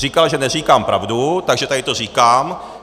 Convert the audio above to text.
Říkal, že neříkám pravdu, takže tady to říkám.